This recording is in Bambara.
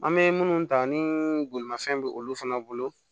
An bɛ minnu ta ni bolimafɛn bɛ olu fana bolo